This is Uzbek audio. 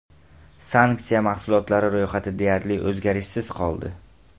Sanksiya mahsulotlari ro‘yxati deyarli o‘zgarishsiz qoldi.